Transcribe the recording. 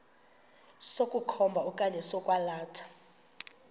sokukhomba okanye sokwalatha